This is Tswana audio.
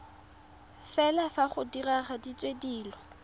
fela fa go diragaditswe dilo